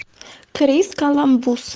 крис коламбус